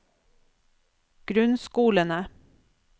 grunnskolene